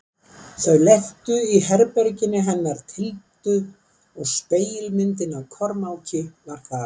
Þau lentu í herberginu hennar Tildu og spegilmyndin af Kormáki var þar.